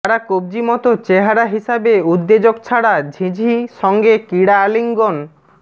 তারা কব্জি মত চেহারা হিসাবে উদ্বেজক ছাড়া ঝিঁঝি সঙ্গে ক্রীড়া আলিঙ্গন